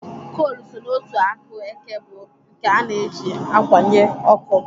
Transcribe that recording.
Kol so n'otu akụ eke bụ nke ana eji akwanye ọkụ.